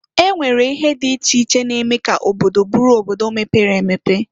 E nwere ihe dị iche iche na-eme ka obodo bụrụ obodo mepere emepe.